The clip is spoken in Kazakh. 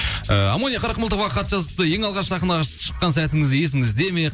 ы амония қырықмылтықова хат жазыпты ең алғаш сахнаға шыққан сәтіңіз есіңізде ме